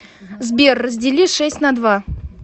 сбер раздели шесть на два